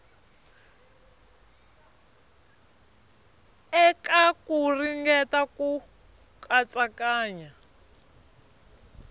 eka ku ringeta ku katsakanya